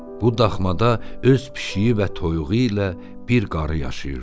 Bu daxmada öz pişiyi və toyuğu ilə bir qarı yaşayırdı.